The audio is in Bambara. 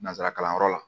Nanzara kalanyɔrɔ la